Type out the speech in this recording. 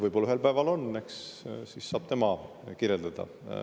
Võib-olla ühel päeval on, eks siis saab tema seda kirjeldada.